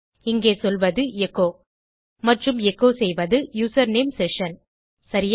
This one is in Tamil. இங்கே சொல்வது எச்சோ மற்றும் எச்சோ செய்வது யூசர்நேம் செஷன் சரியா